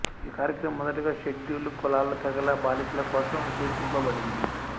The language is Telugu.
ఈ కార్యక్రమం మొదటగా షెడ్యూల్డ్ కులాల తెగల బాలికల కోసం ఉద్దేశింపబడింది